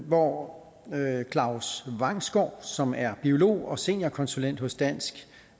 hvor claus vangsgaard som er biolog og seniorkonsulent hos dansk